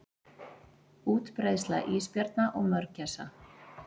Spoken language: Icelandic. Útbreiðsla ísbjarna og mörgæsa.